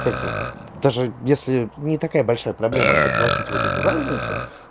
как бы даже если не такая большая проблема доплатить вот эту разницу